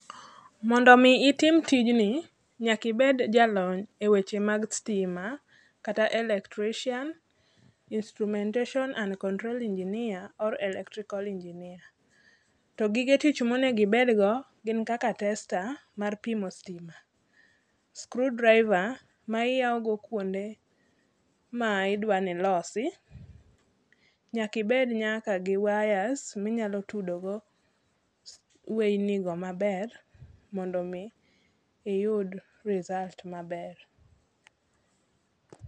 Mondo mi itim tijni, nyakibed jalony e weche mag stima kata electrician, instrumentation and control engineer or electrical engineer. To gige tich monegibedgo gin kaka tester mar pimo stima, screw driver ma iyawogo kwonde ma idwani ilosi. Nyakibed nyaka gi wires minyalo tudogo weyni go maber mondo mi iyud result maber.